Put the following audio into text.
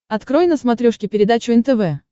открой на смотрешке передачу нтв